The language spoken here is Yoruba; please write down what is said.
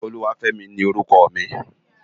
Oluwafemi ni órùkò mi